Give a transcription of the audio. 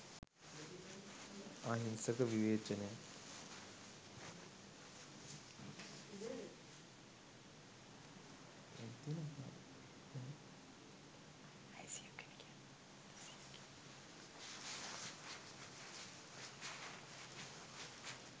අහිංසක විවේචනයක්.